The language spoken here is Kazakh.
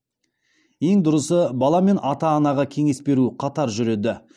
ең дұрысы бала мен ата анаға кеңес беру қатар жүреді